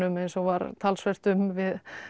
eins og var talsvert um við